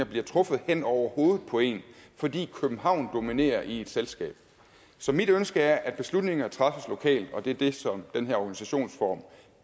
bliver truffet hen over hovedet på en fordi københavn dominerer i et selskab så mit ønske er at beslutninger træffes lokalt og det er det som den her organisationsform